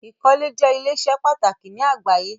Ikọ́lẹ̀ jẹ̀ ilẹ̀-iṣẹ́ pàtàkì ni àgbàyé.